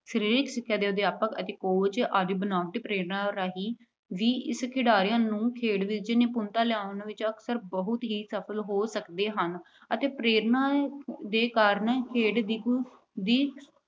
ਸਰੀਰਕ ਸਿੱਖਿਆ ਦੇ ਅਧਿਆਪਕ ਅਤੇ coach ਬਨਾਵਟੀ ਪ੍ਰੇਰਨਾ ਰਾਹੀਂ ਵੀ ਖਿਡਾਰੀਆਂ ਦੀ ਖੇਡ ਵਿੱਚ ਨਿਪੁੰਨਤਾ ਲਿਆਉਣ ਵਿੱਚ ਅਕਸਰ ਬਹੁਤ ਹੀ ਸਫਲ ਹੋ ਸਕਦੇ ਹਨ ਅਤੇ ਪ੍ਰੇਰਨਾ ਦੇ ਕਾਰਨ ਖੇਡ ਦੀ